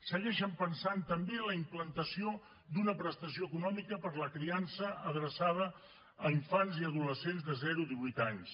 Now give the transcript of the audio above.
segueixen pensant també en la implantació d’una prestació econòmica per a la criança adreçada a infants i adolescents de zero a divuit anys